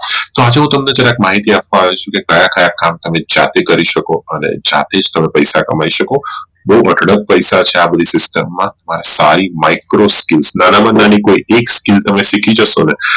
તો આજે હું તમને જરાક માહિતી આપવા આવ્યો છુ કે તમે કયા કયા કામ તમે જાતે કરી શકો અને જાતે જ તમે પૈસા કમાઈ શકો બોવ અઢળક પૈસા છે આ બધી system માં આ સારી Micro skills માં થી તમે કોઈ એક skill શીખી જશો